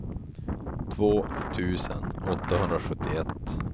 två tusen åttahundrasjuttioett